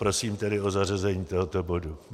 Prosím tedy o zařazení tohoto bodu.